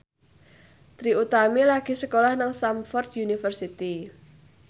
Trie Utami lagi sekolah nang Stamford University